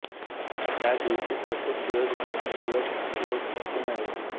त्या दिवशी अशुभ दिवस ग्रहणदिवस कुयोग असू नये